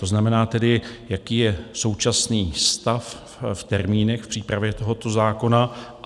To znamená tedy, jaký je současný stav v termínech v přípravě tohoto zákona?